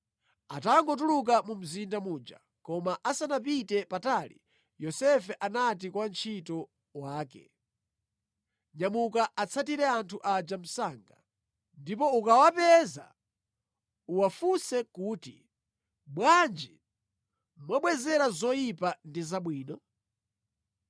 Atangotuluka mu mzinda muja, koma asanapite patali, Yosefe anati kwa wantchito wake, “Nyamuka atsatire anthu aja msanga. Ndipo ukawapeza, uwafunse kuti, ‘Bwanji mwabwezera zoyipa ndi zabwino?